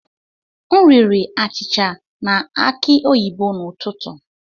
M riri achịcha na aki oyibo n'ụtụtụ.